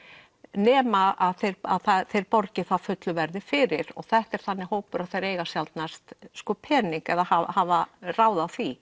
nema að þeir að þeir borgi það fullu verði fyrir og þetta er þannig hópur að þeir eiga sjaldnast pening hafa ráð á því